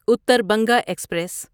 Uttar Banga express